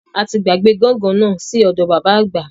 Ati gbàgbé gángan náà sí ọdọ bàbá àgbà